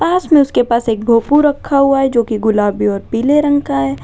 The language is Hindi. पास में उसके पास एक भोपू रखा हुआ है जो की गुलाबी और पीले रंग का है।